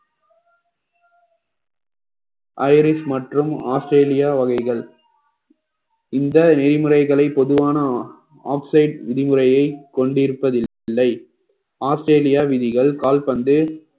Irish மற்றும் Australia வகைகள் இந்த நெறிமுறைகளை பொதுவான oxide விதிமுறையை கொண்டிருப்பதில்லை ஆஸ்திரேலியா விதிகள் கால்பந்து